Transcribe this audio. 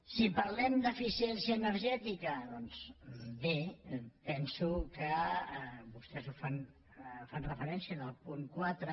si parlem d’eficiència energètica doncs bé penso que vostès hi fan referència en el punt quatre